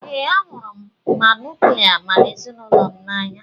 Ee, ahụrụ m ma nuklia m na ezinụlọ m n'anya.